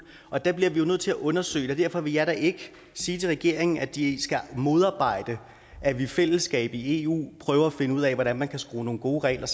og der bliver vi jo nødt til at undersøge og derfor vil jeg da ikke sige til regeringen at de skal modarbejde at vi i fællesskab i eu prøver at finde ud af hvordan man kan skrue nogle gode regler